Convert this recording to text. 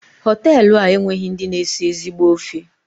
Hotelu a enweghị ndị na esi ezigbo ofe.